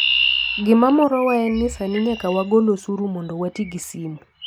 Gima morowa en ni sani nyaka wagol osuru mondo wati gi simo.